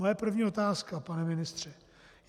Moje první otázka, pane ministře.